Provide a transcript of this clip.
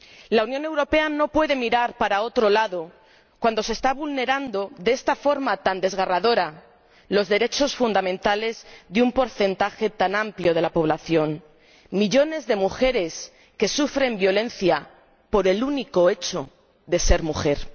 La Unión Europea no puede mirar para otro lado cuando se están vulnerando de esta forma tan desgarradora los derechos fundamentales de un porcentaje tan amplio de la población millones de mujeres que sufren violencia por el único hecho de ser mujeres.